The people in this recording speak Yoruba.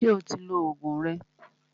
Ṣé o ti lo Ògùn rẹ?